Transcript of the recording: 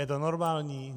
Je to normální?